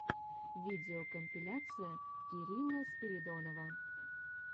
видеокомпиляция кирилла спиридонова